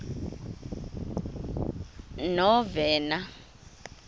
novena